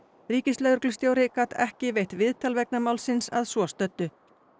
ríkislögreglustjóri gat ekki veitt viðtal vegna málsins að svo stöddu